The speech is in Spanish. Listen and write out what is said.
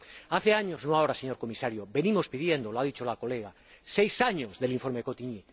Hace años —no ahora, señor Comisario— que lo venimos pidiendo —lo ha dicho la colega— seis años desde el informe Cottigny.